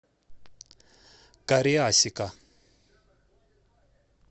кариасика